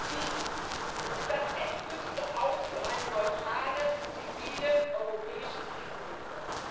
Dies ist das endgültige Aus für eine neutrale, zivile europäische Krisenhilfe.